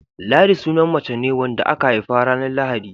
Ladi sunan mace ne wadda aka haifa ranar Lahadi.